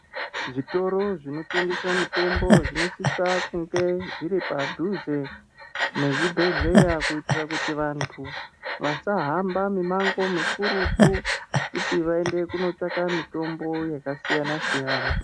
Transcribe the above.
Zvitoro zvinotengese mitombo zvinosisa kunge zviripadhuze nezvibhedhlera kuitira kuti vantu vadahamba mimango mikurutu kuti vaende kunoitsvaka mitombo yakasiyana siyana.